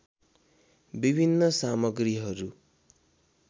विभिन्न सामग्रीहरू